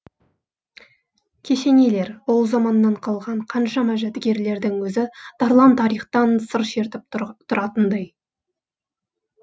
кесенелер ол заманнан қалған қаншама жәдігерлердің өзі тарлан тарихтан сыр шертіп тұратындай